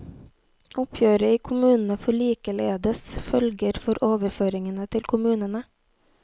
Oppgjøret i kommunene får likeledes følger for overføringene til kommunene.